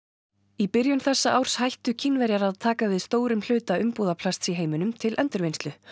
í byrjun þessa árs hættu Kínverjar að taka við stórum hluta umbúðaplasts í heiminum til endurvinnslu